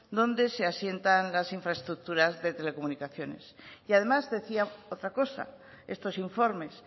donde se asientan las infraestructuras de telecomunicaciones y además decía otra cosa estos informes